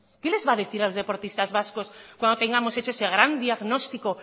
qué les va a decir a los deportistas vascos cuando tengamos hecho ese gran diagnóstico